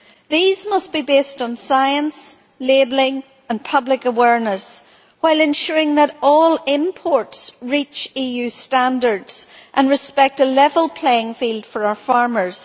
These must be based on science, labelling and public awareness, while ensuring that all imports reach EU standards and respect a level playing field for our farmers.